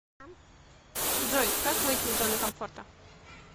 джой как выйти из зоны комфорта